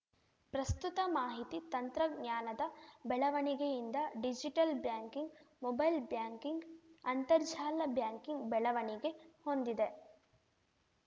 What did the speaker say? ಪ್ರಸ್ತುತ ಮಾಹಿತಿ ತಂತ್ರಜ್ಞಾನದ ಬೆಳವಣಿಗೆಯಿಂದ ಡಿಜಿಟಲ್‌ ಬ್ಯಾಂಕಿಂಗ್‌ ಮೊಬೈಲ್‌ ಬ್ಯಾಂಕಿಂಗ್‌ ಅಂತರ್ಜಾಲ ಬ್ಯಾಂಕಿಂಗ್‌ ಬೆಳವಣಿಗೆ ಹೊಂದಿದೆ